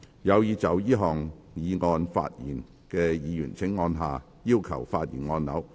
有意就這項議案發言的議員請按下"要求發言"按鈕。